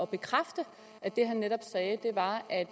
bekræfte at det han netop sagde var at